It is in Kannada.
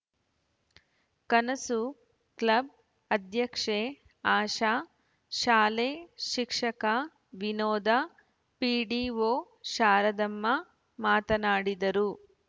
ಕನಸು ಕ್ಲಬ್‌ ಅಧ್ಯಕ್ಷೆ ಆಶಾ ಶಾಲೆ ಶಿಕ್ಷಕ ವಿನೋದ ಪಿಡಿಒ ಶಾರದಮ್ಮ ಮಾತನಾಡಿದರು